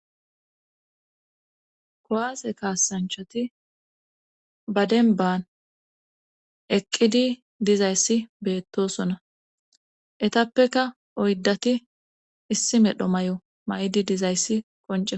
kowaase kaasanchati ba denban eqqidi dizayssi beettosona etappeka oyddati issi medho may7o ma7idi dizayssi konce